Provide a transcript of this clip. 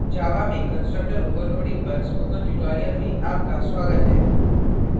java java में constructor overloading constructor overloading पर spoken tutorial में आपका स्वागत है